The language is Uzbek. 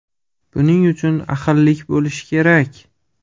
Buning uchun ahillik bo‘lishi kerak.